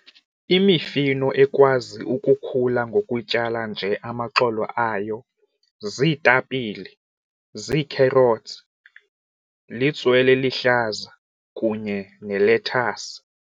Imifino ekwazi ukukhula ngokutyala nje amaxolo ayo ziitapile, zii-carrots litswele eluhlaza kunye nelethasi.